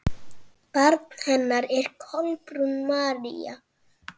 Barn hennar er Kolbrún María.